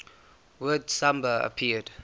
word samba appeared